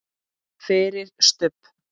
FYRIR STUBB!